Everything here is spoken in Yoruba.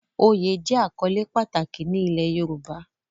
Oyè jẹ́ àkọ́lé pàtàkì ní ilẹ̀ Yorùbá